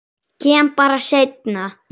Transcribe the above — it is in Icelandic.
Kem bara seinna.